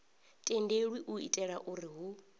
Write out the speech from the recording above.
tendelwi u itela uri hu